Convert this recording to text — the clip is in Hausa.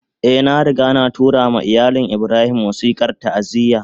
Eh, na riga na tura ma iyalin Ibrahim wasikar ta'aziyya